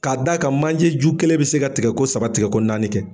K'a d'a ka manjeju kelen bi se ka tigɛko saba tigɛko naani kɛ.